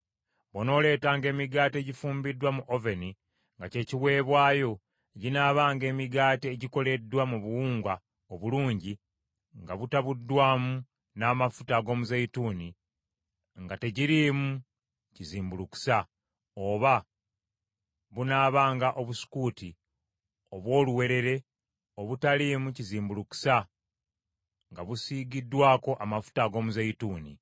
“ ‘Bw’onooleetanga emigaati egifumbiddwa mu oveni nga kye kiweebwayo, ginaabanga emigaati egikoleddwa mu buwunga obulungi nga mutabuddwamu n’amafuta ag’omuzeeyituuni nga tegiriimu kizimbulukusa, oba bunaabanga obusukuuti obw’oluwewere obutaliimu kizimbulukusa nga busiigiddwako amafuta ag’omuzeeyituuni.